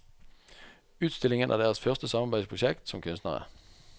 Utstillingen er deres første samarbeidsprosjekt som kunstnere.